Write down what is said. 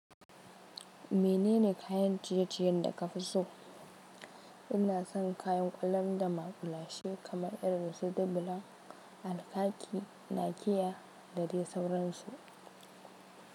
Menene kayan ciye-ciyen da ka fi so? Ina son kayan ƙwalam da maƙulashe kamar irin su dubilan, alkaki, nakiya da dai sauransu.